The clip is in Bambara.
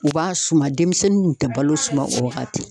U b'a suma denmisɛnninw kun tɛ balo suma o wagati